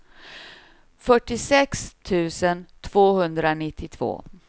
fyrtiosex tusen tvåhundranittiotvå